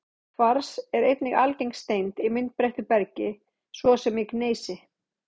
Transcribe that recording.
Kvars er einnig algeng steind í myndbreyttu bergi, svo sem í gneisi.